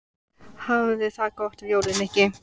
Hafðu það gott um jólin, Nikki